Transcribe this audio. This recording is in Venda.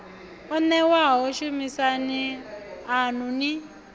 o newaho shumisani anu ni